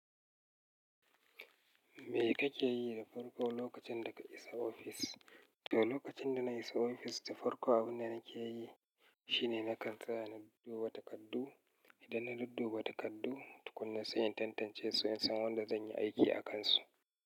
Me kake yi da farko lokacin da ka isa ofis? To, lokacin da na isa ofis, to farko abin da nake yi shine na kan tsaya na duba takardu. Idan na dub duba takardu, tukuna sai in tantance su in san wanda zan yi aiki a kansu.